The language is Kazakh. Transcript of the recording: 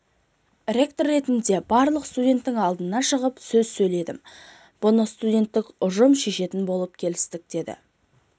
ректор ретінде барлық студенттің алдына шығып сөз сөйледім бұны студенттік ұжым шешетін болып келістік деді